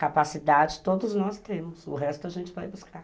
Capacidade, todos nós temos, o resto a gente vai buscar.